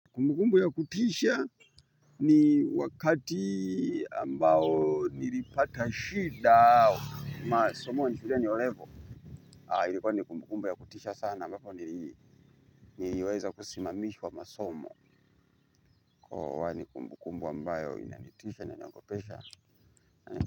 Kumbukumbu ya kutisha ni wakati ambayo nilipata shida masomo shuleni olevo, ilikwa ni kumbukumbu ya kutisha sana ambako niliweza kusimamishwa masomo kwa hivyo ni kumbu kumbu ambayo inanitisha na inaniogopesha.